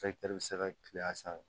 bɛ se ka kile a sanfɛ